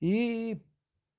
и